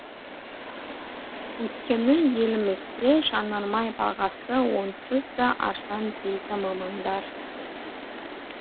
өйткені елімізде жанармай бағасы онсыз да арзан дейді мамандар